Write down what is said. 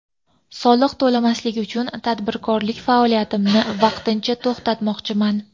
Soliq to‘lamaslik uchun tadbirkorlik faoliyatimni vaqtincha to‘xtamoqchiman.